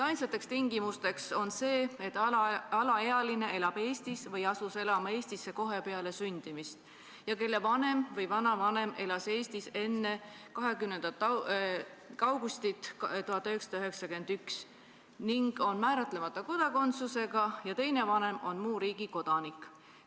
Ainsaks tingimuseks on see, et alaealine elab Eestis või asus elama Eestisse kohe peale sündimist ning et tema vanem või vanavanem elas Eestis enne 20. augustit 1991 ja on määratlemata kodakondsusega ning et teine vanem on muu riigi kodanik.